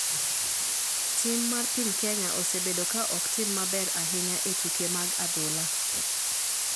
Tim mar piny kenya osebedo ka ok tim maber ahinya e tuke mag adhulla